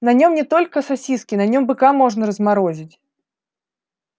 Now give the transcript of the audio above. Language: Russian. на нем не только сосиски на нем быка можно разморозить